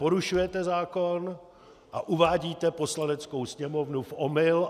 Porušujete zákon a uvádíte Poslaneckou sněmovnu v omyl.